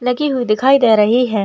लगी हुई दिखाई दे रही है।